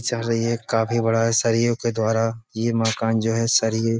चल रही है काफी बड़ा है सरियों के द्वारा ये मकान जो है सरिये --